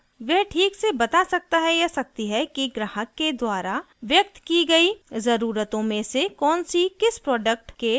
वह ठीक से बता सकता है/सकती है कि ग्राहक के द्वारा व्यक्त की गयी ज़रूरतों में से कौन सी किस प्रोडक्ट के द्वारा संतुष्ट होंगी